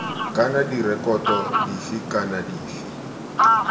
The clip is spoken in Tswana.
kana direkoto dife kana dife